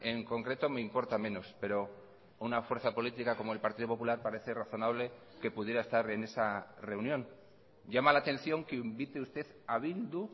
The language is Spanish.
en concreto me importa menos pero una fuerza política como el partido popular parece razonable que pudiera estar en esa reunión llama la atención que invite usted a bildu